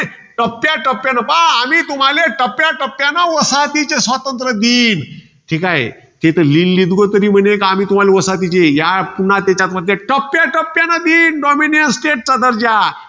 टप्याटप्यान पहा. आम्ही तुम्हाले टप्याटप्याने वसाहतीचे स्वातंत्र्य देईन. ठीके? हे लीलीगु, तर म्हणे, आम्ही तुम्हाला वसाहतीचे. या पुन्हा त्याच्यात म्हणते. टप्याटप्यान देईन, dominance state चा दर्जा.